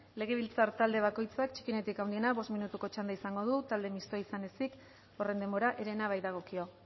legebiltzar talde bakoitzak txikienetik handienera bost minutuko txanda izango du talde mistoa izan ezik horren denbora herena baitagokio